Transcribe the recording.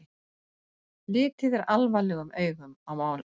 Litið er alvarlegum augum á málið